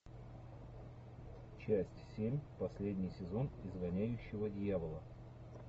часть семь последний сезон изгоняющего дьявола